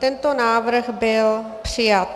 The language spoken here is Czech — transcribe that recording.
Tento návrh byl přijat.